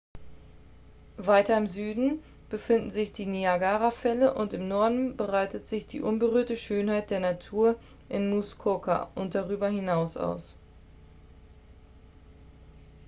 weiter im süden befinden sich die niagarafälle und im norden breitet sich die unberührte schönheit der natur in muskoka und darüber hinaus aus